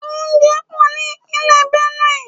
Oúnjẹ pò ní Ìpínlẹ̀ Benue.